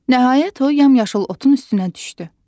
Nəhayət, o, yamyaşıl otun üstünə düşdü.